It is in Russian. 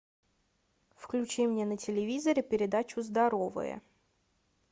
включи мне на телевизоре передачу здоровые